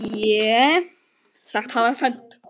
Fé sagt hafa fennt.